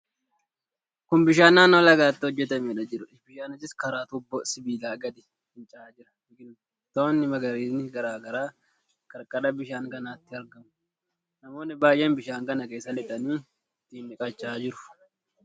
Kun bishaan naannoo lagaatti hojjetameedha jiruudha. Bishaannis karaa tuubboo sibiilaa gadi finca'aa jira. Biqiltoonni magariisni garaa garaa qarqara bishaan kanaatti argamu. Namoonni baay'een bishaan kana keessa lixanii ittiin dhiqachaa jiru.